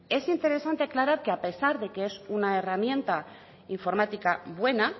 es interesante aclarar que a pesar de que es una herramienta informática buena